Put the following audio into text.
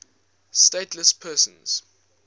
stateless persons